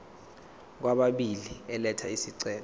kwababili elatha isicelo